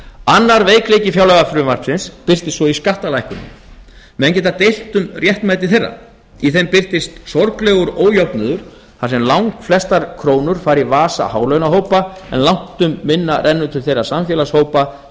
annar veikleiki fjárlagafrumvarpsins birtist svo í skattalækkunum menn geta deilt um réttmæti þeirra í þeim birtist sorglegur ójöfnuður þar sem langflestar krónur fara í vasa hálaunahópa en langt um minna renna til þeirra samfélagshópa